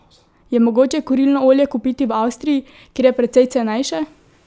Je mogoče kurilno olje kupiti v Avstriji, kjer je precej cenejše?